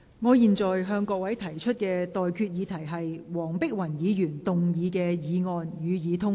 我現在向各位提出的待決議題是：黃碧雲議員動議的議案，予以通過。